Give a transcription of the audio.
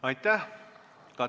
Aitäh!